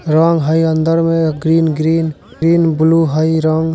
रंग हई अंदर में ग्रीन-ग्रीन ग्रीन ब्लू हई रंग--